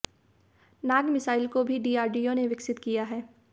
नाग missile को भी DRDO ने विकसित किया है